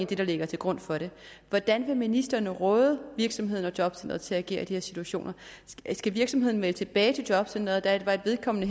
det der ligger til grund for det hvordan vil ministeren råde virksomheden og jobcenteret til at agere i de her situationer skal virksomheden melde tilbage til jobcenteret at vedkommende